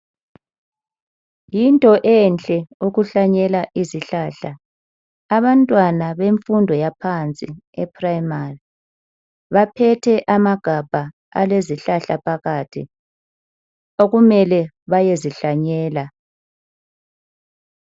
Yinto enhlle ukuhlanyela izihlahla. Abantwana bemfundo yaphansi eprimary baphethe amagabha alezihlahla phakathi okumele bayezihlanyela.